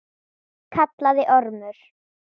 kallaði Ormur.